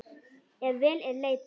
Ef vel er leitað.